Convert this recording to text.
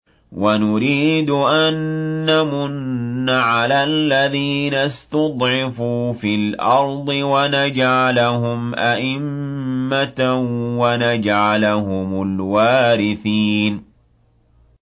وَنُرِيدُ أَن نَّمُنَّ عَلَى الَّذِينَ اسْتُضْعِفُوا فِي الْأَرْضِ وَنَجْعَلَهُمْ أَئِمَّةً وَنَجْعَلَهُمُ الْوَارِثِينَ